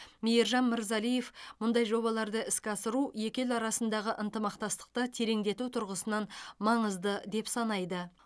мейіржан мырзалиев мұндай жобаларды іске асыру екі ел арасындағы ынтымақтастықты тереңдету тұрғысынан маңызды деп санайды